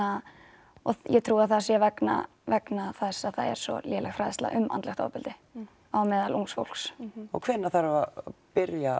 og ég trúi að það sé vegna vegna þess að það er svo léleg fræðsla um andlegt ofbeldi á meðal ungs fólks og hvenært þarf að byrja